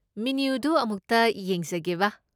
ꯃꯦꯅ꯭ꯌꯨꯗꯨ ꯑꯃꯨꯛꯇ ꯌꯦꯡꯖꯒꯦꯕ꯫